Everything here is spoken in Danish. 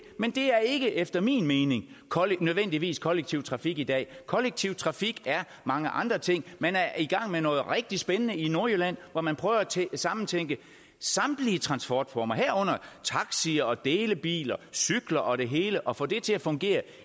men det er ikke efter min mening nødvendigvis kollektiv trafik i dag kollektiv trafik er mange andre ting man er i gang med noget rigtig spændende i nordjylland hvor man prøver at samtænke samtlige transportformer herunder taxi og delebiler cykler og det hele og få det til at fungere